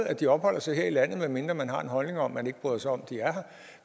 at de opholder sig her i landet medmindre man har en holdning om at man ikke bryder sig om at de er her